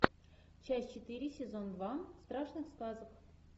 часть четыре сезон два страшных сказок